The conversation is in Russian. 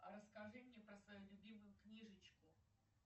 расскажи мне про свою любимую книжечку